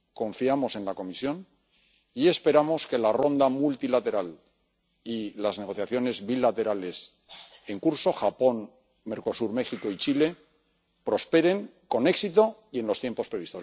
Confiamos en la Comisión y esperamos que la ronda multilateral y las negociaciones bilaterales en curso ―Japón, Mercosur, México y Chile― prosperen con éxito y en los tiempos previstos.